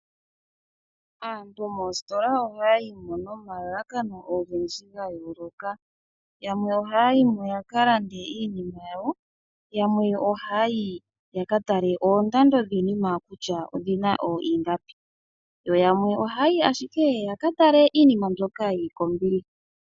Aantu moostola ohaya yimo nomalalakano ogendji ga yoloka. Yamwe ohaya yimo yaka lande iinima yawo, yamwe ohayi ya katale oondando dhiinima kutya odhina iingapi yo yamwe ohaya yi ashike yaka tale kutya iinima mbyoka yili kombiliha.